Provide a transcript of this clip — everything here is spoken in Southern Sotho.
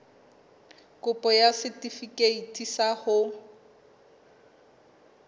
kopo ya setefikeiti sa ho